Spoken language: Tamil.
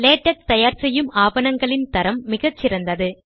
லேடக் தயார் செய்யும் ஆவணங்களின் தரம் மிகச்சிறந்தது